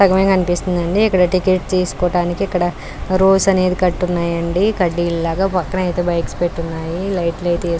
సగమే కనిపిస్తుంది అండీ ఇక్కడ టికెట్ తీసుకోవోడానికి ఇక్కడ రోస్ అనేది కట్టి ఉన్నాయండి కడ్డిలాగా పక్కన అయితే బైక్స్ పెట్టి ఉన్నాయి లైట్ లు అయితే --